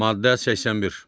Maddə 81.